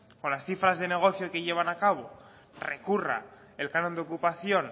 con las cifras de negocio que llevan a cabo recurra el canon de ocupación